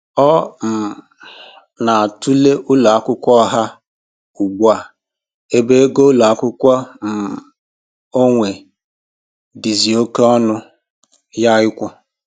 Ọ um na-atụle ụlọ akwụkwọ ọha ugbu a ebe ego ụlọ akwụkwọ um onwe dịzị oké ọṅụ ya ịkwụ